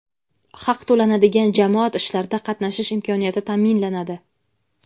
haq to‘lanadigan jamoat ishlarida qatnashish imkoniyati taʼminlanadi.